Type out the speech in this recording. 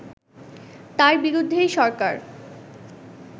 তার বিরুদ্ধেই সরকার